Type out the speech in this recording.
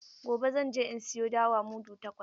Gobe zan je in sayo dawa mudu takwas.